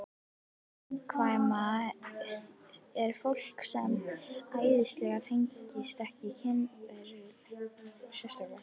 Gagnkvæmni er fólki ekki eðlislæg og tengist ekki kynferði sérstaklega.